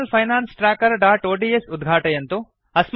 personal finance trackerओड्स् उद्घाटयन्तु